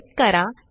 type करा